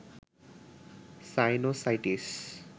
sinusitis